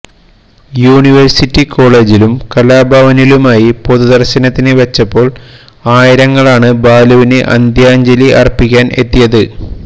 university കോളേജിലും കലാഭവനിലുമായി പൊതുദർശനത്തിന് വച്ചപ്പോൾ ആയിരങ്ങളാണ് ബാലുവിന് അന്ത്യാഞ്ജലി അർപ്പിക്കാൻ എത്തിയത്